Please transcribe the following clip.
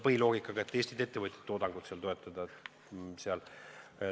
Põhiline loogika on, et me soovime Eesti ettevõtjate tootmist toetada.